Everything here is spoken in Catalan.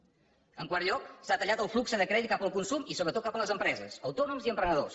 en quart lloc s’ha tallat el flux de crèdit cap al consum i sobretot cap a les empreses autònoms i emprenedors